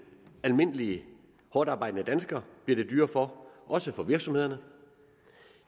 almindelige hårdtarbejdende dansker bliver det dyrere for også for virksomhederne